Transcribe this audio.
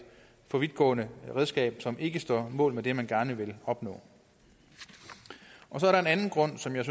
for vidtgående redskab som ikke står mål med det man gerne vil opnå så er der en anden grund som jeg